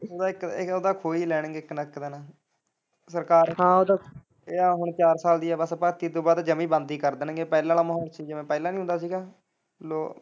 ਉਹ ਤਾਂ ਇੱਕ, ਉਹ ਤਾਂ ਖੋਹ ਹੀ ਲੈਣਗੇ ਇੱਕ ਨਾ ਇੱਕ ਦਿਨ ਸਰਕਾਰ ਹੁਣ ਚਾਰ ਸਾਲ ਦੀ ਆ ਬਸ ਭਰਤੀ ਓਦੇ ਤੋਂ ਬਾਅਦ ਜਮੇ ਹੀ ਬੰਦ ਕਰ ਦੇਣਗੇ ਪਹਿਲਾਂ ਵਾਲਾ ਮਾਹੋਲ ਸੀ ਜਿਵੇਂ ਪਹਿਲਾਂ ਨੀ ਹੁੰਦਾ ਸੀਗਾ ਲੋਕ।